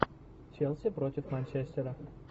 челси против манчестера